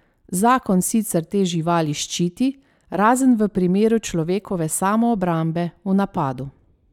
Zakon sicer te živali ščiti, razen v primeru človekove samoobrambe v napadu.